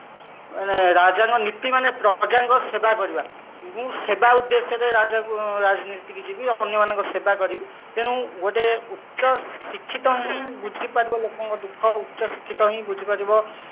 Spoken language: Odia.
ମାନେ ରାଜାଙ୍କ ନୀତି ମାନେ ପ୍ରଜାଙ୍କ ସେବା କରିବା ମୁଁ ସେବା ଉଦ୍ଦେଶ୍ୟରେ ରାଜନୀତିକୁ ଯିବି ଅନ୍ୟ ମାନଙ୍କ ସେବା କରିବି ତେଣୁ ଗୋଟେ ଉଚ୍ଚ ଶିକ୍ଷିତ ହିଁ ବୁଝି ପାରିବ ଲୋକଙ୍କ ଦୁଃଖ ଉଚ୍ଚ ଶିକ୍ଷିତ ହିଁ ବୁଝି ପାରିବ